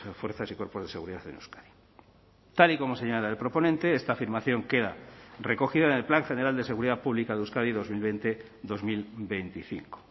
fuerzas y cuerpos de seguridad en euskadi tal y como señala el proponente esta afirmación queda recogida en el plan general de seguridad pública de euskadi dos mil veinte dos mil veinticinco